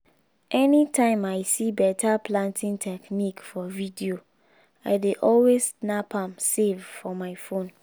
anytime i see better planting technique for video i dey always snap am save for my phone